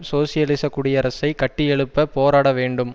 சோசியலிச குடியரசை கட்டியெழுப்ப போராட வேண்டும்